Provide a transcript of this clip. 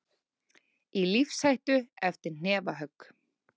Í lífshættu eftir hnefahögg